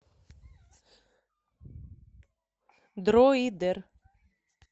дроидер